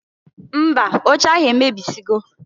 Mba! Oche ahụ emebisigo.